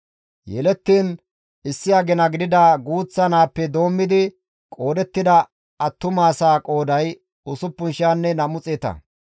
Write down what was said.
Yelettiin issi agina gidida guuththa naappe doommidi qoodettida attumasaa qooday usupun xeetanne nam7u xeeta.